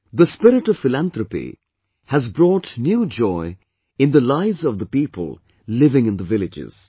This spirit of philanthropy has brought new joy in the lives of the people living in the villages